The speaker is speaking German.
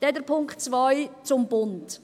Dann der Punkt zwei betreffend den Bund: